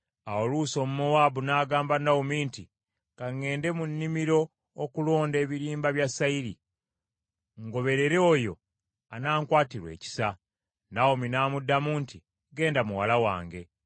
Awo Luusi Omumowaabu n’agamba Nawomi nti, “Ka ŋŋende mu nnimiro okulonda ebirimba bya sayiri, ngoberere oyo anankwatirwa ekisa .” Nawomi n’amuddamu nti, “Genda, muwala wange.”